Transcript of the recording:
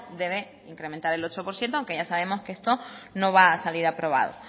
debe incrementar el ocho por ciento aunque ya sabemos que esto no va a salir aprobado